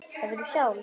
Hefurðu sjálf?